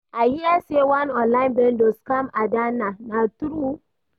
I hear say one online vendor scam Adanna, na true?